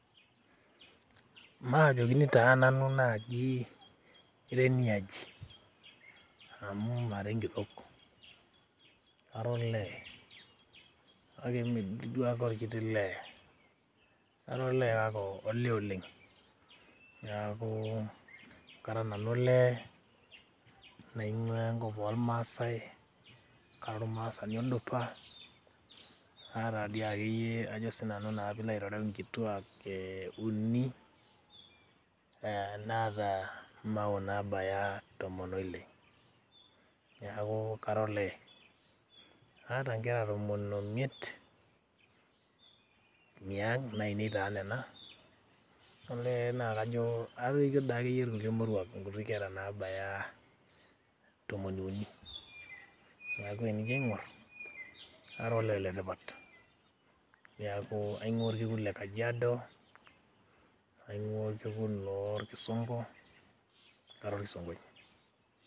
Maanyokini taa naaji nanu ira eniaji amu mara enkitok, kara olee kake mme dii duo ake olkiti lee. Kara olee kake olee oleng. Niaku kara nanu olee naing`uaa enkop oo ilmaasai, ara olmaasani odupa naata dii ake iyie ajo naa sii nanu pee ilo aitereu nkituak uni naata mawoo nabaya tomon oile. Niaku kara olee, aata nkera tomon omiet niang nainei taa nena olee naa kajo atoikio doi akeyie ilkulie moruak nkuti kera nabaya tomoni uni. Niaku tenijo aingorr kara doi akeyie olee le tipat. Niaku aing`uaa olkekun le Kajiado, aing`ua olkekun loo ilkisongo kara olkisonkoi.